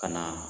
Ka na